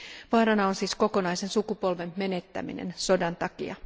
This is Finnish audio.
Vaarana on siis kokonaisen sukupolven menettäminen sodan takia.